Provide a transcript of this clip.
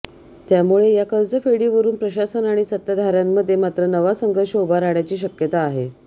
त्यामुळे या कर्जफेडीवरून प्रशासन आणि सत्ताधाऱ्यांमध्ये मात्र नवा संघर्ष उभा राहण्याची शक्यता आहे